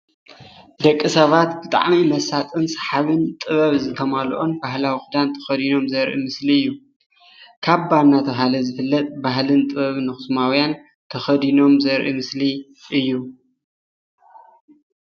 ደቅሰባት ብጣዕሚ መሳጥን ሰሓብን ጥበብ ዝተማለኦም ባህላዊ ኽዳን ተኸዲኖም ዘርኢ ምስሊ እዩ። ካባ እናተብሃለ ዝፍለጥ ባህልን ጥበብን ኣኽሱማውያን ተኸዲኖም ዘርኢ ምስሊ እዩ።